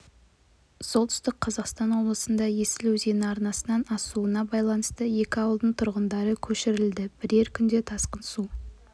солтүстік қазақстан облысында есіл өзені арнасынан асуына байланысты екі ауылдың тұрғындары көшірілді бірер күнде тасқын су